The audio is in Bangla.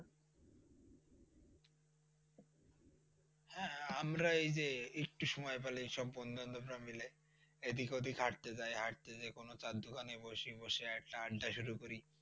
হ্যাঁ, আমরা এই যে একটু সময় পাইলে সব বন্ধু বান্ধবরা মিলে এদিক ওদিক হাঁটতে যাই হাঁটতে যেয়ে কোনো চায়ের দোকানে বসি, বসে একটা আড্ডা শুরু করি।